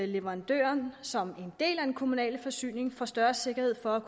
leverandøren som en del af den kommunale forsyning får større sikkerhed for at